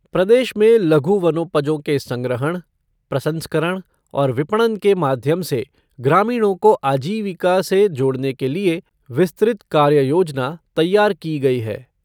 प्रदेश में लघु वनोपजों के संग्रहण, प्रसंस्करण और विपणन के माध्यम से ग्रामीणों को आजीविका से जोड़ने के लिए विस्तृत कार्ययोजना तैयार की गई है।